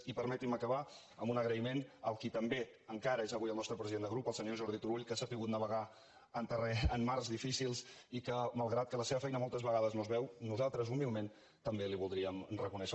i permetin me acabar amb un agraïment al qui també encara és avui el nostre president de grup el senyor jordi turull que ha sabut navegar en mars difícils i a qui malgrat que la seva feina moltes vegades no es veu nosaltres humilment també li ho voldríem reconèixer